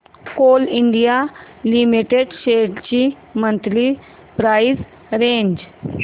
Coal India Limited shares ची monthly price range